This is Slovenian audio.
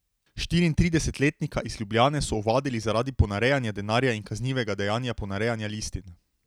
Štiriintridesetletnika iz Ljubljane so ovadili zaradi ponarejanja denarja in kaznivega dejanja ponarejanja listin.